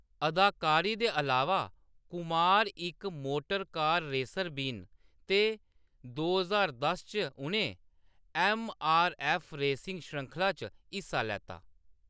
अदाकारी दे अलावा, कुमार इक मोटरकार रेसर बी न ते दो ज्हार दस च उʼनें ऐम्म. आर. ऐफ्फ. रेसिंग श्रृंखला च हिस्सा लैता।